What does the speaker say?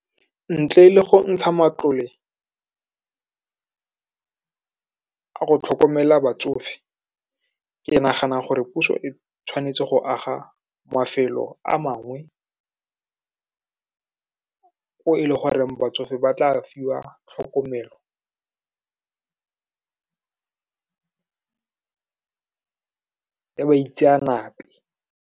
Ntle le go ntsha matlole a go tlhokomela batsofe, ke nagana gore puso e tshwanetse go aga mafelo a mangwe, e e le goreng batsofe ba tla fiwa tlhokomelo ya baitseanape.